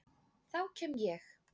Þá kem ég